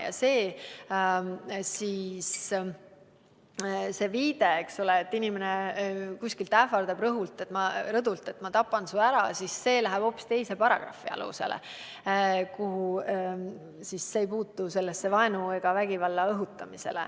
Ja see viide, et inimene rõdult ähvardab, et ta tapab su ära, läheb hoopis teise paragrahvi alla, see ei puutu vaenu ega vägivalla õhutamisse.